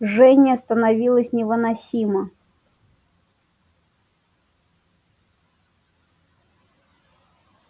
жжение становилось невыносимо